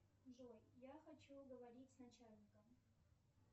джой я хочу говорить с начальником